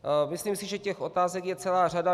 Myslím si, že těch otázek je celá řada.